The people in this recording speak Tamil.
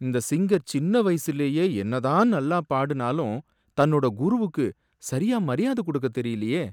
இந்த சிங்கர் சின்ன வயசுலயே என்ன தான் நல்லா பாடுனாலும் தன்னோட குருவுக்கு சரியா மரியாதை கொடுக்கத் தெரியலயே!